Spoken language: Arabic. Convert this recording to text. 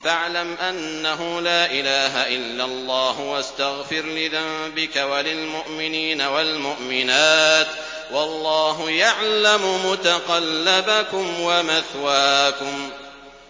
فَاعْلَمْ أَنَّهُ لَا إِلَٰهَ إِلَّا اللَّهُ وَاسْتَغْفِرْ لِذَنبِكَ وَلِلْمُؤْمِنِينَ وَالْمُؤْمِنَاتِ ۗ وَاللَّهُ يَعْلَمُ مُتَقَلَّبَكُمْ وَمَثْوَاكُمْ